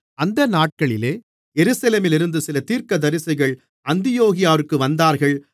அந்த நாட்களிலே எருசலேமிலிருந்து சில தீர்க்கதரிசிகள் அந்தியோகியாவிற்கு வந்தார்கள்